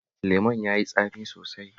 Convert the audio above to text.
Lemon ya yi tsami sosai